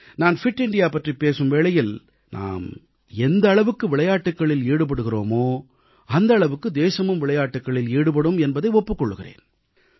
நான் fit India பற்றிப் பேசும் வேளையில் நாம் எந்த அளவுக்கு விளையாட்டுகளில் ஈடுபடுகிறோமோ அந்த அளவுக்கு தேசமும் விளையாட்டுகளில் ஈடுபடும் என்பதை ஒப்புக் கொள்கிறேன்